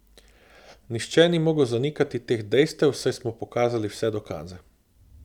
Nihče ni mogel zanikati teh dejstev, saj smo pokazali vse dokaze.